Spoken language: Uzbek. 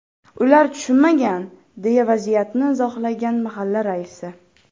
Ular tushunmagan”, deya vaziyatni izohlagan mahalla raisi.